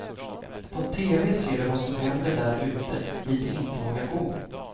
På teven ser de vad som händer där ute dit de inte vågar gå.